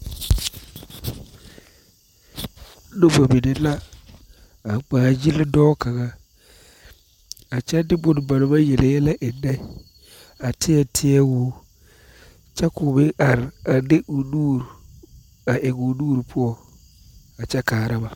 Noba mine la a ŋmaagyili dɔɔ kaŋa a kyɛ de bone ba naŋ maŋ yele yɛlɛ eŋnɛ a teɛ teɛ o kyɛ k,o meŋ are a de o nuuri a eŋ o nuuri poɔ a kyɛ kaara ba.